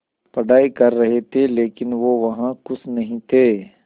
पढ़ाई कर रहे थे लेकिन वो वहां ख़ुश नहीं थे